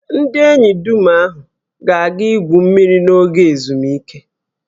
Ndị enyi dum ahụ ga-aga igwu mmiri n'oge ezumike